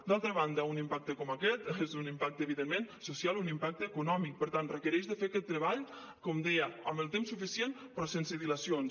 d’altra banda un impacte com aquest és un impacte evidentment social un impacte econòmic per tant requereix fer aquest treball com deia amb el temps suficient però sense dilacions